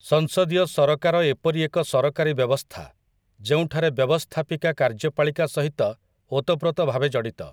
ସଂସଦୀୟ ସରକାର ଏପରି ଏକ ସରକାରୀ ବ୍ୟବସ୍ଥା ଯେଉଁଠାରେ ବ୍ୟବସ୍ଥାପିକା କାର୍ଯ୍ୟପାଳିକା ସହିତ ଓତଃପ୍ରୋତ ଭାବେ ଜଡ଼ିତ ।